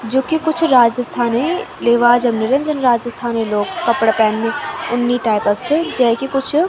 जू की कुछ रजिस्थानी लिवाजम नी रेंद जन रजिस्थानी लोग कपड़ा पैंदी उन्नी टाइप क च जैकी कुछ --